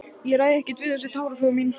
Ég ræð ekkert við þessi táraflóð mín.